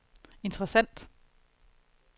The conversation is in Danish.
interessant